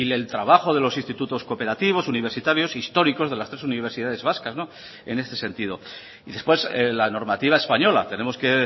el trabajo de los institutos cooperativos universitarios históricos de las tres universidades vascas no en este sentido y después la normativa española tenemos que